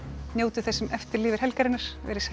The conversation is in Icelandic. njótið þess sem eftir lifir helgarinnar veriði sæl